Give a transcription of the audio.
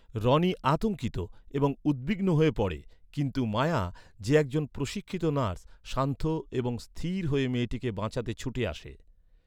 রনি আতঙ্কিত এবং উদ্বিগ্ন হয়ে পড়ে, কিন্তুমায়া, যে একজন প্রশিক্ষিত নার্স, শান্ত এবং স্থির হয়ে মেয়েটিকে বাঁচাতে ছুটে আসে।